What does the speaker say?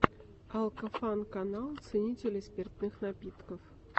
алкофан канал ценителей спиртных напитков